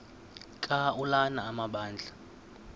ka ulana amabandla